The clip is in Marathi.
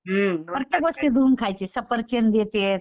प्रत्येक गोष्ट धुवून खायचे सफरचंद हे ते